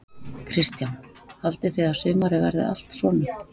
Kristján: Haldið þið að sumarið verið allt svona?